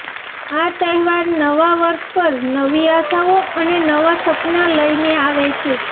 આ તહેવાર નવા વર્ષ પર નવી આશાઓ અને નવા સપનાં લઈને આવે છે